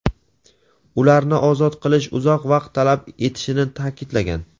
ularni ozod qilish "uzoq vaqt talab etishini" ta’kidlagan.